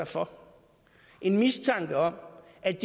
for en mistanke om at